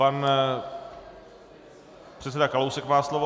Pan předseda Kalousek má slovo.